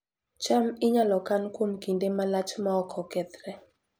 cham inyalo kan kuom kinde malach maok okethre